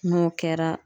N'o kɛra